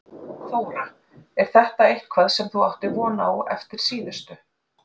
Þóra: En er þetta eitthvað sem þú áttir von á eftir síðustu?